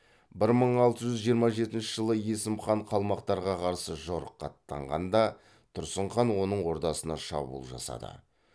бір мың алты жүз жиырма жетінші жылы есім хан қалмақтарға қарсы жорыққа аттанғанда тұрсын хан оның ордасына шабуыл жасады